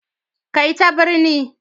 Kai ta birni